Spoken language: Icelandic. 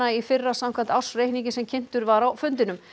í fyrra samkvæmt ársreikningi sem kynntur var á fundinum